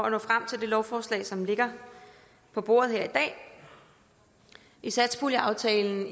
at nå frem til det lovforslag som ligger på bordet her i dag i satspuljeaftalen